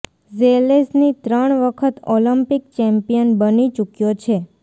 Zelezny ત્રણ વખત Olympic champion બની ચૂક્યો છે